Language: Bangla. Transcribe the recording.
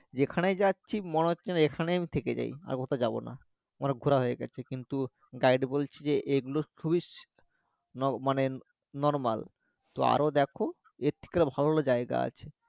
যেখানেই যাচ্ছি মনে হচ্ছে যেন এখানেই আমি থেকে যাই আর কোথাও যাবো না আমার ঘোরা হয়ে গেছে কিন্তু guide বলছে যে এগুলো খুবই ন মানে normal তো আরো দেখ এর থেকে ভালো ভালো জায়গা আছে